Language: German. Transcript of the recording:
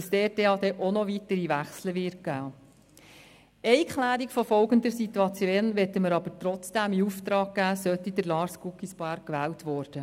Eine Klärung der folgenden Situation möchten wir aber trotzdem in Auftrag geben, sollte Lars Guggisberg gewählt werden: